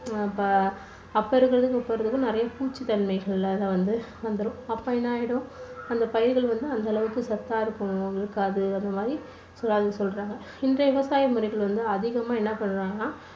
அப்போ இருக்கறதுக்கும் இப்போ இருக்கறதுக்கும் நிறைய பூச்சி தன்மைகள் எல்லாம் வந்து வந்துடும். அப்போ என்ன ஆயிடும்? அந்த பயிர்கள் வந்து அந்த அளவுக்கு சத்தா இருக்கும்~இருக்காது அந்த மாதிரி சொல்றாங்க. இந்த விவசாய முறைகள்lல வந்து அதிகமா என்ன பண்றாங்கன்னா